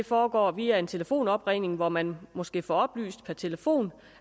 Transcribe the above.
foregår via en telefonopringning hvor man måske får oplyst per telefon